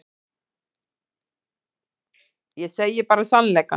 Ég segi bara sannleikann.